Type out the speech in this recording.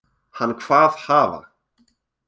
Hann kvað hafa